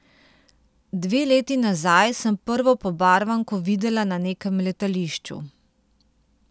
Dve leti nazaj sem prvo pobarvanko videla na nekem letališču.